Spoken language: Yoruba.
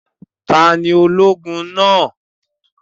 Ta ni ológun náà?